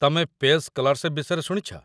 ତମେ ପେସ୍ ସ୍କଲାର୍ଶିପ୍ ବିଷୟରେ ଶୁଣିଛ?